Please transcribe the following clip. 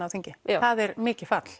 á þingi það er mikið fall